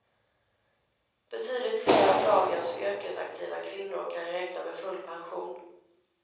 Betydligt fler av dagens yrkesaktiva kvinnor kan räkna med full pension.